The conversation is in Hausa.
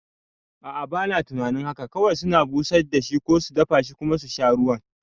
A'a, bana tunanin haka kawai suna busar da shi ko su dafashi kuma susha ruwan